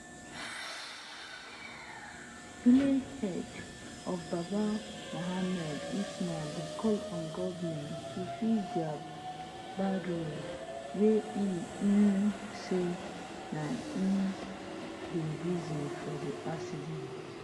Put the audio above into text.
village head of babba muhammad usman dey call on goment to fix dia bad road wey e um say na um di reason for di accident